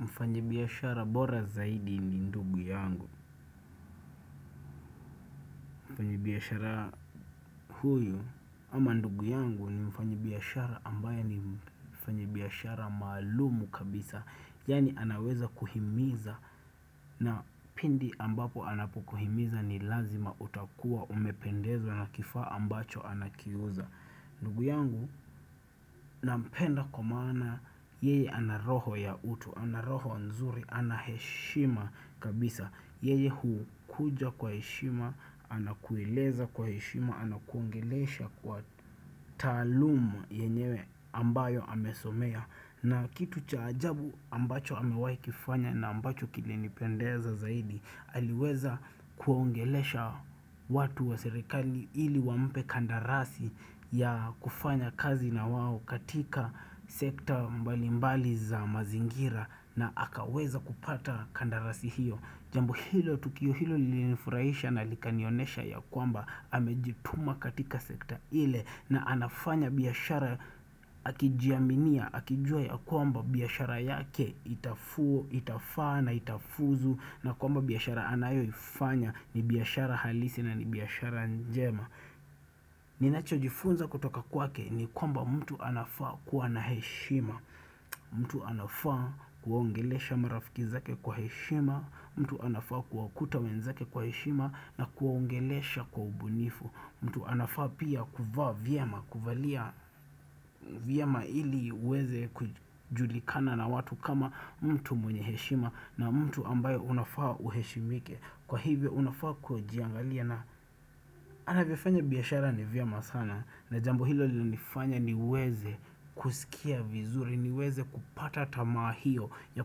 Mfanyibiashara bora zaidi ni ndugu yangu. Mfanyibiashara huyu ama ndugu yangu ni mfanyibiashara ambaye ni mfanyibiashara maalumu kabisa. Yani anaweza kuhimiza na pindi ambapo anapukuhimiza ni lazima utakua umependezwa na kifaa ambacho anakiuza. Ndugu yangu nampenda kumana yeye ana roho ya utu, ana roho nzuri, ana heshima kabisa. Yeye huu kuja kwa hishima, anakueleza kwa heshima, anakuongelesha kwa taalumu yenyewe ambayo amesomea na kitu cha ajabu ambacho amewaikifanya na ambacho kile nipendeza zaidi aliweza kuongelesha watu wa serikali ili wampe kandarasi ya kufanya kazi na wao katika sekta mbali mbali za mazingira na akaweza kupata kandarasi hiyo Jambo hilo tukio hilo linifurahisha na likanionesha ya kwamba amejituma katika sekta ile na anafanya biashara akijiaminia, akijua ya kwamba biashara yake itafaa na itafuzu na kwamba biashara anayo ifanya ni biashara halisi na ni biashara njema. Ninacho jifunza kutoka kwake ni kwamba mtu anafaa kuwa na heshima mtu anafaa kuwaongelesha mrafikizake kwa heshima mtu anafaa kuwa kuta wenzake kwa heshima na kuwaongelesha kwa ubunifu mtu anafaa pia kuvaa vyema, kuvalia vyama ili uweze kujulikana na watu kama mtu mwenye heshima na mtu ambayo unafaa uheshimike Kwa hivyo unafaa kuajiangalia na anavyofanya biashara ni vyama sana na jambo hilo li nifanya niweze kusikia vizuri, niweze kupata tamaa hiyo ya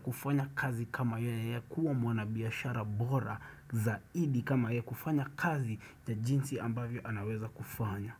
kufanya kazi kama yeye ya kuwa mwana biashara bora zaidi kama ya kufanya kazi ya jinsi ambavyo anaweza kufanya.